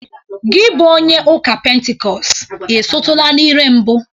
Gi bụ onye ụka pentikọst, ị sụtụla n'ire mbụ?